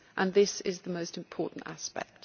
This is the most important aspect.